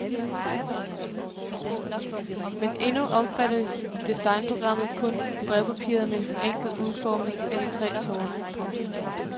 Men endnu omfatter designprogrammet kun brevpapiret med en forenklet udformning af de tre tårne. punktum